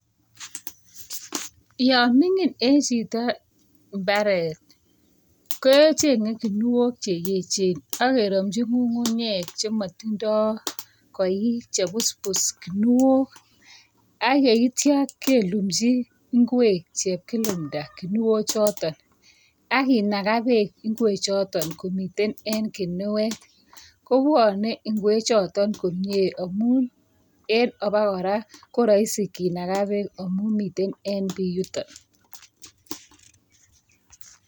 Yo mining eng chito imbaret, kechengei kinuok, che echen ak kendochin ng'ung'unyek chematindoi koik, chebusbus, kinuok. Ak yeityo kelunchi ingqej, chepkilumta, kinuk choton, akinaga bek ingwek choton komitwn en kinuet. kobwonei ingechutok komie amun en abokora korahisi kinaga bek amun miten en bii yutonyu.